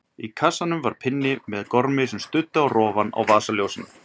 Í kassanum var pinni með gormi sem studdi á rofann á vasaljósinu.